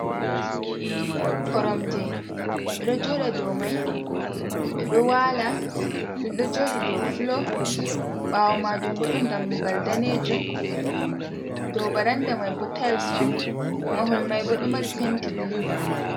"Koromje" ɓeɗo jooɗa dou mai, ɓeɗo wala, ɗum ɗo jooɗi dow fulo ɓawo majum bo ɗon dammugal danejum dow baranda mai bo tayls on mahol mai bo ɗo mari penti bulu.